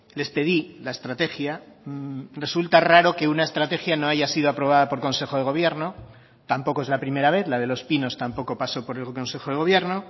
les pedí la estrategia resulta raro que una estrategia no haya sido aprobada por consejo de gobierno tampoco es la primera vez la de los pinos tampoco pasó por el consejo de gobierno